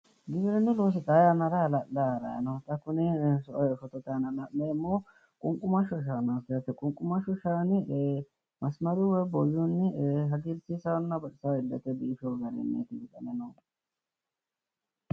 Giwirinnu loosi xaa yannara hala'layi harayi no. Xa kuni fotote aana la'neemmohu qunqumashsho shaanaati yaate. Qunqumashshu shaani masmaruyi woyi booyyunni hagiirsiissanno baxisawo illete biifiwo garinniti wixame noohu.